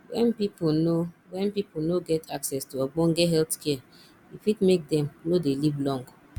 when pipo no when pipo no get access to ogbone health care e fit make dem no dey live long